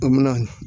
An mɛna